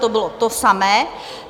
to bylo to samé.